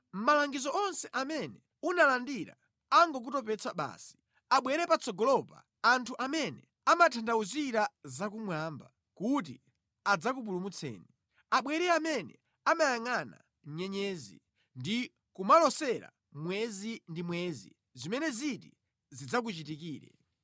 Malangizo onse amene unalandira angokutopetsa basi! Abwere patsogolopa anthu amene amatanthauzira za kumwamba kuti adzakupulumutseni. Abwere amene amayangʼana nyenyezi, ndi kumalosera mwezi ndi mwezi zimene ziti zidzakuchitikire.